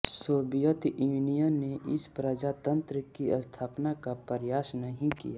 Soviet Union ने इस प्रजातंत्र की स्थापना का प्रयास नहीं किया